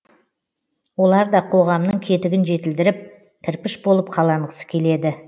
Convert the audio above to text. олар да қоғамның кетігін жетілдіріп кірпіш болып қаланғысы келеді